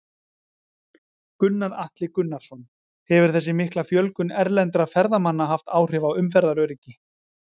Gunnar Atli Gunnarsson: Hefur þessi mikla fjölgun erlendra ferðamanna haft áhrif á umferðaröryggi?